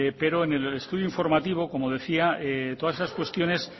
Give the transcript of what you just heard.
pero en el estudio informativo como decía todas esas cuestiones